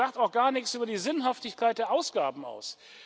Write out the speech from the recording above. Das sagt auch gar nichts über die Sinnhaftigkeit der Ausgaben aus.